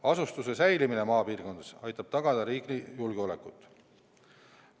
Asustuse säilimine maapiirkondades aitab tagada riigi julgeolekut.